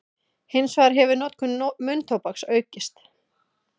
Hins vegar hefur notkun munntóbaks aukist.